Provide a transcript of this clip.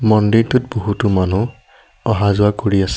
মন্দিৰটোত বহুতো মানুহ অহা যোৱা কৰি আছে।